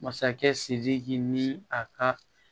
Masakɛ sidiki ni a ka